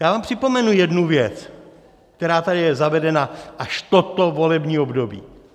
Já vám připomenu jednu věc, která tady je zavedena až toto volební období.